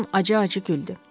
Con acı-acı güldü.